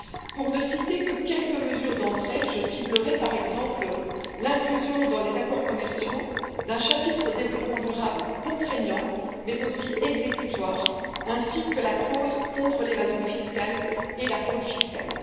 Pour n'en citer que quelques unes, je ciblerai, par exemple, l'inclusion dans les accords commerciaux d'un chapitre développement durable contraignant mais aussi exécutoire, ainsi que la clause contre l'évasion fiscale et la fraude fiscale.